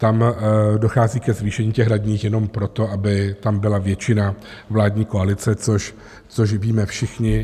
Tam dochází ke zvýšení těch radních jenom proto, aby tam byla většina vládní koalice, což víme všichni.